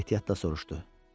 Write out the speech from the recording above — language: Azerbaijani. Sonra ehtiyatla soruşdu: